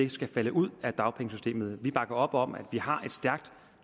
ikke skal falde ud af dagpengesystemet vi bakker op om at vi har et stærkt